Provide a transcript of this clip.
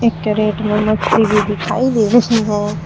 Carat में मछली भी दिखाइ दे रही है।